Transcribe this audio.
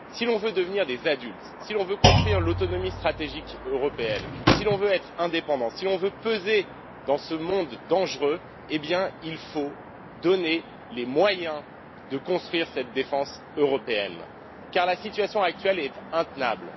Si l'on veut devenir des adultes, si l'on veut construire l'autonomie stratégique européenne, si l'on veut être indépendants, si l'on veut peser dans ce monde dangereux, alors il faut donner les moyens de construire cette défense européenne, car la situation actuelle est intenable.